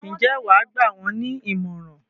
Ǹjẹ́ wà á gbà wọ́n ní ìmọ̀ràn?